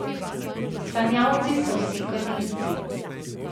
Sanjavci so vsi kadilci.